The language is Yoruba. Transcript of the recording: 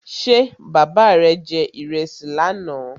Ṣé bàbá rè je ìrẹsì lánà?